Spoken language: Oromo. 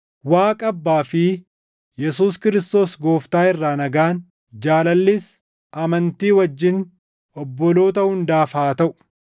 Waaqa Abbaa fi Yesuus Kiristoos Gooftaa irraa nagaan, jaalallis amantii wajjin obboloota hundaaf haa taʼu.